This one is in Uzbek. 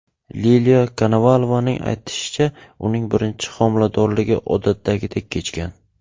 Liliya Konovalovaning aytishicha, uning birinchi homiladorligi odatdagidek kechgan.